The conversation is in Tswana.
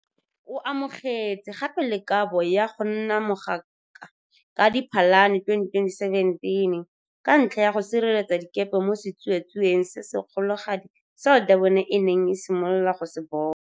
O amogetse gape le kabo ya go nna mogaka ka Diphalane 2017, ka ntlha ya go sireletsa dikepe mo setsuatsueng se se kgologadi seo Durban e neng e simolola go se bona.